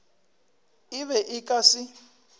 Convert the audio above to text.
e be e ka se